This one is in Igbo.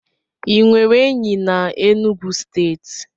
Ị nwere enyi na Enugwu steeti?